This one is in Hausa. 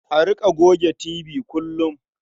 A riƙa goge tibi kullum.